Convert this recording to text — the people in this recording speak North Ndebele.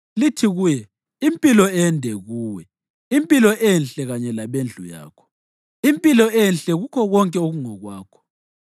Lithi kuye, ‘Impilo ende kuwe! Impilo enhle kanye labendlu yakho! Impilo enhle kukho konke okungokwakho!